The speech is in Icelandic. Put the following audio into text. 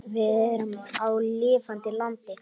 Við erum á lifandi landi.